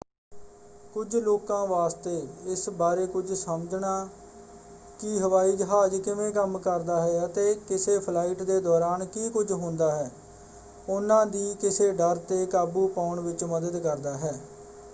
ਕੁਝ ਲੋਕਾਂ ਵਾਸਤੇ ਇਸ ਬਾਰੇ ਕੁਝ ਸਮਝਣਾ ਕਿ ਹਵਾਈ ਜਹਾਜ਼ ਕਿਵੇਂ ਕੰਮ ਕਰਦਾ ਹੈ ਅਤੇ ਕਿਸੇ ਫਲਾਈਟ ਦੇ ਦੌਰਾਨ ਕੀ ਕੁਝ ਹੁੰਦਾ ਹੈ ਉਹਨਾਂ ਦੀ ਕਿਸੇ ਡਰ 'ਤੇ ਕਾਬੂ ਪਾਉਣ ਵਿੱਚ ਮਦਦ ਕਰਦਾ ਹੈ।